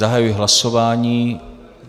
Zahajuji hlasování.